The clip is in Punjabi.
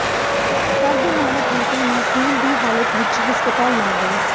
ਘਰ ਦੇ ਮਾਲਕ ਬੇਟੇ ਨੂੰ ਖੂਨ ਦੀ ਹਾਲਤ ਵਿੱਚ ਹਸਪਤਾਲ ਲੈ ਗਏ